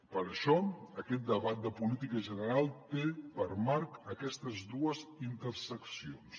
per això aquest debat de política general té per marc aquestes dues interseccions